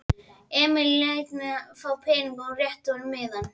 Emil lét hana fá peningana og hún rétti honum miðann.